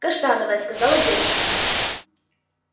каштановая сказала девушка